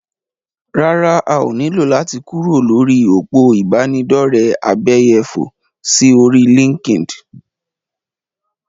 Rárá, a ní lò láti kúrò lórí òpó ìbánidọ́rẹ̀ abẹ́yẹfò sí orí LinkedIn.